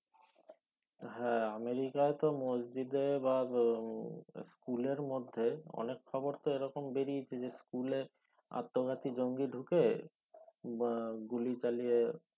হ্যাঁ আমেরিকাতে তো মসজিদে বা school এর মধ্যে অনেক খবর তো এখন বেরিয়েছে school আত্মঘাতী জঙ্গি ঢুকে না গুলি চালিয়ে